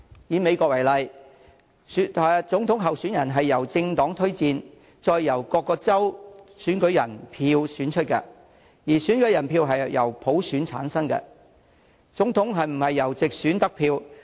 以美國為例，總統候選人由政黨推薦，再由各州的選舉人選出，而選舉人由普選產生，總統不是從直選得票。